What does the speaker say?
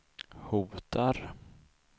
hotar